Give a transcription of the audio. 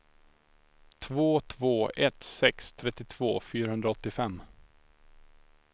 två två ett sex trettiotvå fyrahundraåttiofem